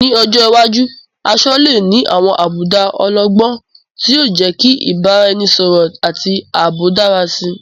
Ní ọjọ́ iwájú, aṣọ lè ní àwọn àbùdá ọlọ́gbọ́n, tí yóò jẹ́ kí ìbáraẹnisọ̀rọ̀ àti ààbò dára sí i.